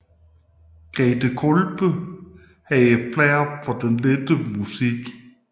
Grethe Kolbe havde flair for den lettere musik